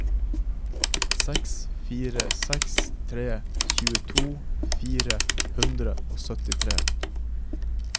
seks fire seks tre tjueto fire hundre og syttitre